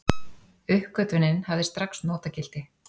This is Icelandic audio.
Uppgötvunin hafði strax notagildi.